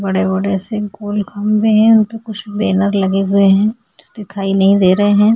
बड़े बड़े से गोल खंबे है उनपे कुछ बैनर लगे हुए है जो दिखाई नही दे रहे है।